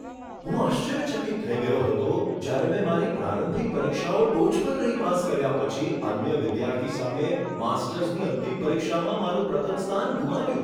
હું આશ્ચર્યચકિત થઈ ગયો હતો જ્યારે મેં મારી પ્રારંભિક પરીક્ષાઓ ટોચ પર રહી પાસ કર્યા પછી અન્ય વિદ્યાર્થી સામે માસ્ટર્સની અંતિમ પરીક્ષામાં મારું પ્રથમ સ્થાન ગુમાવ્યું.